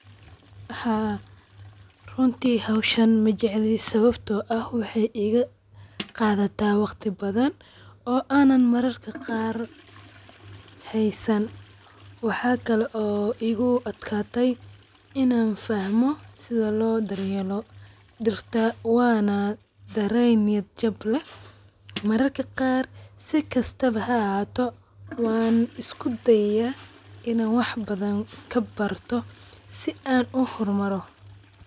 Waxa runti hoshan majecli sawabto ah waxee iga qadata waqti badan oo an mararka qar hesan waxa kale oo igu adkate in an fahmo dirta wana daren niya jab keh mararka qarkod si kastawa ha ahato wan isku dayaya In an wax badan kabarto si an u hormaro.